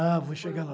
Ah, vou chegar lá.